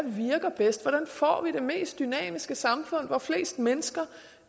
virker bedst hvordan får vi det mest dynamiske samfund hvor flest mennesker